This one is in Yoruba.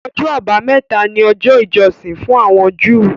Ọjọ́ Àbámẹ́ta ni ọjọ́ ìjọsìn fún àwọn Júù